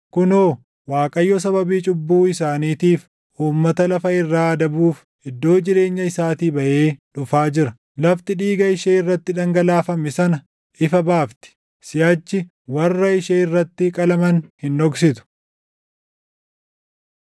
Kunoo, Waaqayyo sababii cubbuu isaaniitiif uummata lafa irraa adabuuf // iddoo jireenya isaatii baʼee dhufaa jira. Lafti dhiiga ishee irratti dhangalaafame sana ifa baafti; siʼachi warra ishee irratti qalaman hin dhoksitu.